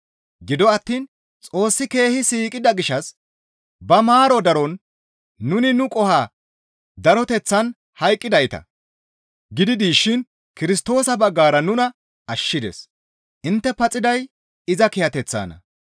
Gido attiin Xoossi keehi siiqida gishshas ba maaro daron nuni nu qoho daroteththaan hayqqidayta gidi dishin Kirstoosa baggara nuna ashshides; intte paxiday iza kiyateththanna.